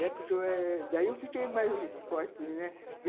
Daí eu fiquei mais forte, né